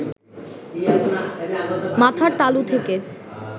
মাথার তালু থেকে